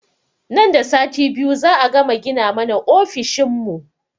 Nan da sati biyu za a gama gina mana ofishin mu